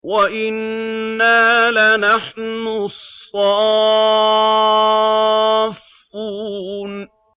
وَإِنَّا لَنَحْنُ الصَّافُّونَ